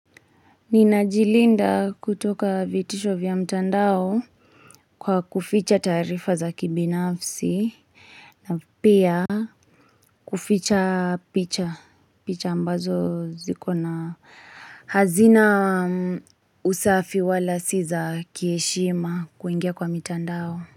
Ninajilinda kutoka vitisho vya mtandao kwa kuficha tarifa za kibinafsi na pia kuficha picha picha ambazo ziko na hazina usafi wala si za kieshima kuingia kwa mtandao.